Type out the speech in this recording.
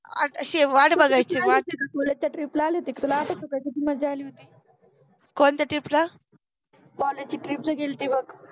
अशि वाट बघायचि वाट. कॉलेज च्या ट्रिप ला आलि होति का तुला आठ्वते का कशि मज्जा आलि होति कोणत्या ट्रिप ला, कॉलेज चि ट्रिप जे गेलति बघ